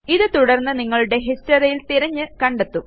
ഇത് തുടര്ന്ന് നിങ്ങളുടെ historyയില് തിരഞ്ഞ് കണ്ടെത്തും